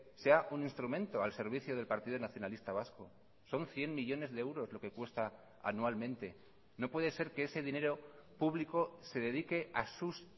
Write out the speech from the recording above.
sea un instrumento al servicio del partido nacionalista vasco son cien millónes de euros lo que cuesta anualmente no puede ser que ese dinero público se dedique a sus